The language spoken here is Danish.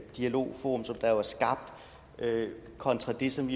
dialogforum som der jo er skabt kontra det som